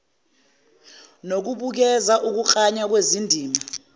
nokubukeza ukuklanywa kwezindima